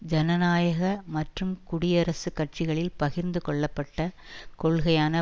ஜனநாயக மற்றும் குடியரசுக் கட்சிகளில் பகிர்ந்து கொள்ளப்பட்ட கொள்கையான